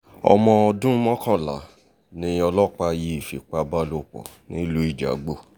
ọmọ ọdún mọ́kànlá ni ọlọ́pàá yìí fipá bálòpọ̀ nílùú ijagbó